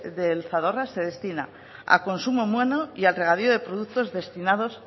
del zadorra se destina a consumo humano y al regadío de productos destinados